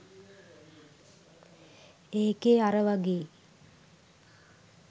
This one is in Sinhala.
ඒකේ අර වගේ